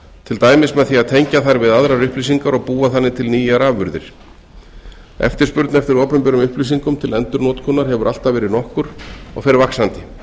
til dæmis með því að tengja þær við aðrar upplýsingar og búa þannig til nýjar afurðir eftirspurn eftir opinberum upplýsingum til endurnotkunar hefur alltaf verið nokkur og fer vaxandi